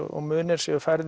og munir séu færð